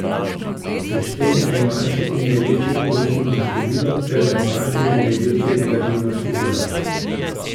Seštej najmanjše in največje pozitivno število ter najmanjše in največje negativno število.